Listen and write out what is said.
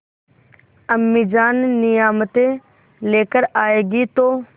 अम्मीजान नियामतें लेकर आएँगी तो